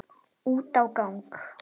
Út á gang.